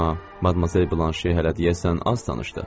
Amma Madmazel Blanşe hələ deyəsən az danışdı.